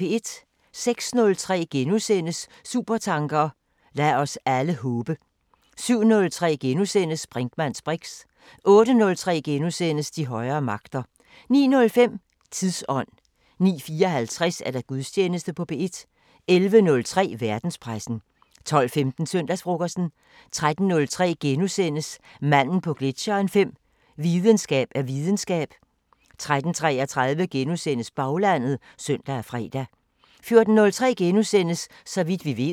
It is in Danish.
06:03: Supertanker: Lad os alle håbe! * 07:03: Brinkmanns briks * 08:03: De højere magter * 09:05: Tidsånd 09:54: Gudstjeneste på P1 11:03: Verdenspressen 12:15: Søndagsfrokosten 13:03: Manden på gletsjeren 5:5 – Videnskab er videnskab * 13:33: Baglandet *(søn og fre) 14:03: Så vidt vi ved *